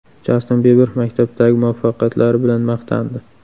Jastin Biber maktabdagi muvaffaqiyatlari bilan maqtandi.